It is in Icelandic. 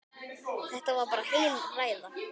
Þetta var bara heil ræða.